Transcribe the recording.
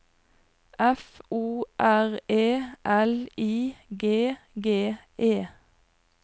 F O R E L I G G E